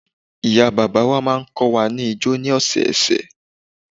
Ìyá bàbá wa máa ń kọ́ wa ni ijó ni ọ̀sẹ̀ ọ̀sẹ̀